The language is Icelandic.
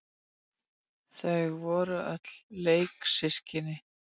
Þau voru öll leiksystkin.